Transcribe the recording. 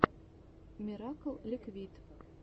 миракл ликвид